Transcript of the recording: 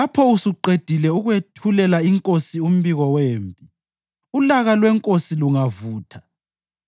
Walaya isithunywa wathi: “Lapho usuqedile ukwethulela inkosi umbiko wempi,